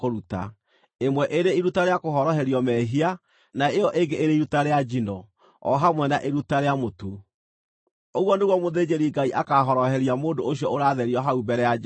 ĩmwe ĩrĩ iruta rĩa kũhoroherio mehia na ĩyo ĩngĩ ĩrĩ iruta rĩa njino, o hamwe na iruta rĩa mũtu. Ũguo nĩguo mũthĩnjĩri-Ngai akaahoroheria mũndũ ũcio ũratherio hau mbere ya Jehova.”